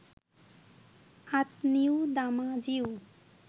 আঁতনিউ দামাজিউ